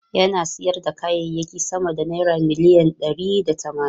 Yana sayar da kayayyaki sama da naira miliyan ɗari da tamanin.